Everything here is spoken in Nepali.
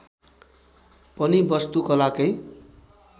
पनि वस्तु कला कै